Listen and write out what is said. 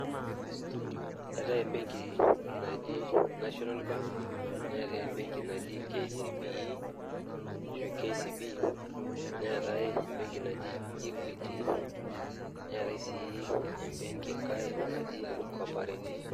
Eetae embenki naji National Bank neetae embenki naki KCB neetae embenki naji Equity netae enkaae naji Cooperative.